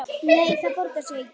Nei, það borgar sig ekki.